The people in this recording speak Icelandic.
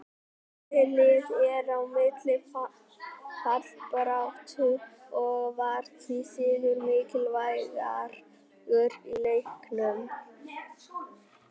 Þessi lið eru í mikilli fallbaráttu og var því sigur mikilvægur í leiknum.